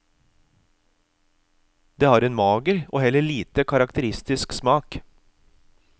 Det har en mager, og heller lite karakteristisk smak.